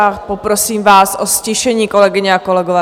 A poprosím vás o ztišení, kolegyně a kolegové.